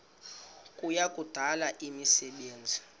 kuya kudala imisebenzi